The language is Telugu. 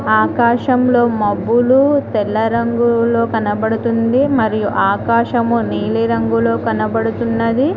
ఆకాశంలో మబ్బులు తెల్ల రంగులో కనబడతుంది మరియు ఆకాశం నీలి రంగులో కనబడుతున్నది.